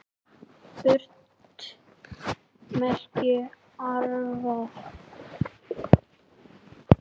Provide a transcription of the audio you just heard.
Furt merkir árvað.